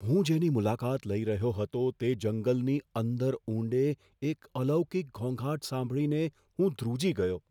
હું જેની મુલાકાત લઈ રહ્યો હતો તે જંગલની અંદર ઊંડે, એક અલૌકિક ઘોંઘાટ સાંભળીને હું ધ્રુજી ગયો.